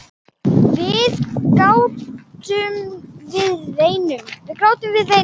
Við grátum, við veinum.